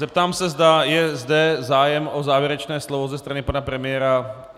Zeptám se, zda je zde zájem o závěrečné slovo ze strany pana premiéra?